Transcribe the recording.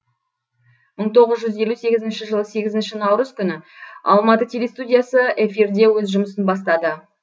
мың тоғыз жүз елу сегізінші жылы сегізінші наурыз күні алматы телестудиясы эфирде өз жұмысын бастады